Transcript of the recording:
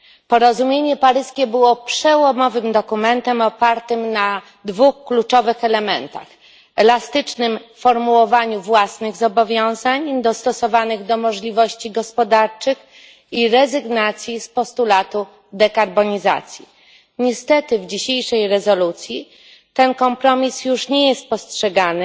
Porozumienie paryskie było przełomowym dokumentem opartym na dwóch kluczowych elementach elastycznym formułowaniu własnych zobowiązań dostosowanych do możliwości gospodarczych i rezygnacji z postulatu dekarbonizacji. Niestety w dzisiejszej rezolucji ten kompromis już nie jest postrzegany